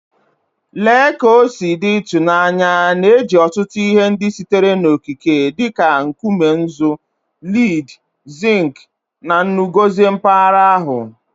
Lee ka o si dị ịtụnanya na e ji ọtụtụ ihe ndị sitere n'okike dị ka nkume nzu, lead, zinc, na nnu gọzie mpaghara ahụ.